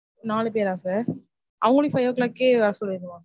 நாலு பேரா sir? அவங்களையும் five o'clock கே வர சொல்லிரவா?